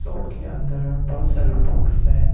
Shop के अंदर बहोत सारे बुक्स है।